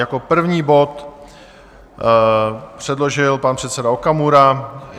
Jako první bod předložil pan předseda Okamura.